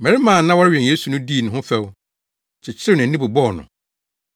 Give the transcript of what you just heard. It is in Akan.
Mmarima a na wɔrewɛn Yesu no dii ne ho fɛw, kyekyeree nʼani, bobɔɔ no,